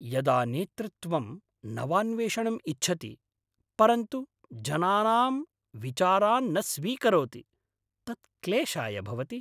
यदा नेतृत्वं नवान्वेषणं इच्छति, परन्तु जनानाम् विचारान् न स्वीकरोति, तत् क्लेशाय भवति।